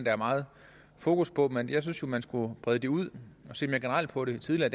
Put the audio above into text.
er meget fokus på men jeg synes man skulle brede det ud og se mere generelt på det tidligere